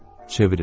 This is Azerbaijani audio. Çevrildim.